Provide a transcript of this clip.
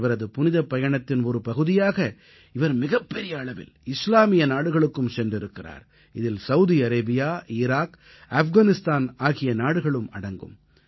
இவரது புனிதப்பயணத்தின் ஒரு பகுதியாக இவர் மிகப்பெரிய அளவில் இஸ்லாமிய நாடுகளுக்கும் சென்றிருக்கிறார் இதில் சௌதி அரேபியா ஈராக் ஆஃப்கானிஸ்தான் ஆகிய நாடுகளும் அடங்கும்